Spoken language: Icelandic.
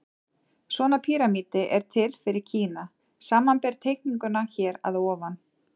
Svona píramídi er til fyrir Kína, samanber teikninguna hér að ofan.